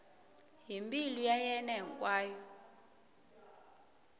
hi mbilu ya yena hinkwayo